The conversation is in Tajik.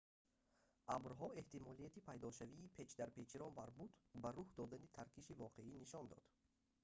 абрҳо эҳтимолияти пайдошавии печдарпечиро марбут ба рух додани таркиши воқеӣ нишон дод